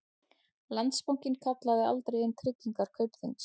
Landsbankinn kallaði aldrei inn tryggingar Kaupþings